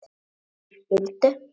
Þau skildu.